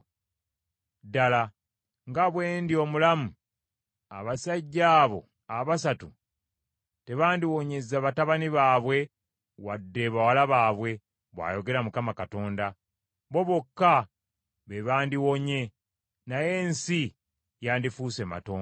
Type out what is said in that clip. ddala nga bwe ndi omulamu, abasajja abo abasatu tebandiwonyezza batabani baabwe wadde bawala baabwe, bw’ayogera Mukama Katonda. Bo bokka be bandiwonye, naye ensi yandifuuse matongo.